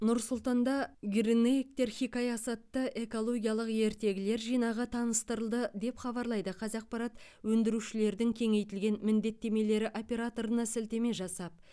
нұр сұлтанда гринэйктер хикаясы атты экологиялық ертегілер жинағы таныстырылды деп хабарлайды қазақпарат өндірушілердің кеңейтілген міндеттемелері операторына сілтеме жасап